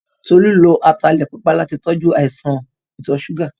Tolú lo ataalẹ̀ pupa láti tọjú àìsàn ìtọ̀-súgà.